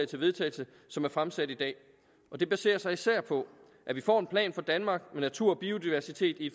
til vedtagelse som er fremsat i dag det baserer sig især på at vi får en plan for danmark med natur og biodiversitet i